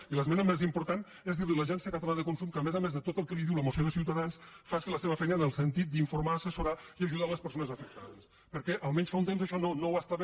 i l’esmena més important és dir a l’agència catalana de consum que a més a més de tot el que li diu la moció de ciutadans faci la seva feina en el sentit d’informar assessorar i ajudar les persones afectades perquè almenys fa un temps això no ho feia